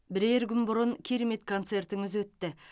бірер күн бұрын керемет концертіңіз өтті